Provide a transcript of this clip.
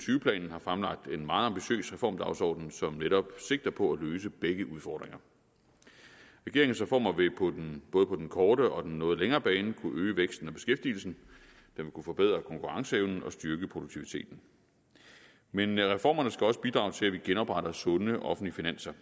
har fremlagt en meget ambitiøs reformdagsorden som netop sigter på at løse begge udfordringer regeringens reformer vil både på den korte og den noget længere bane kunne øge væksten og beskæftigelsen forbedre konkurrenceevnen og styrke produktiviteten men reformerne skal også bidrage til at vi genopretter sunde offentlige finanser